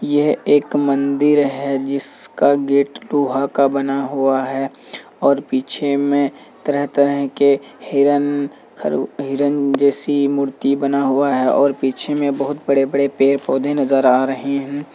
ये एक मंदिर है जिसका गेट लोहा का बना हुआ है और पीछे में तरह-तरह के हिरन-हिरन जैसी मूर्तियां बना हुआ है और पीछे में बहुत बड़े-बड़े पेड़-पौधे नजर आ रहे हैं।